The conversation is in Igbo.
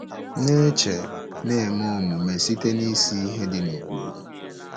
Na-eche na-eme Omume site isi ihe dị n'ụkpụrụ.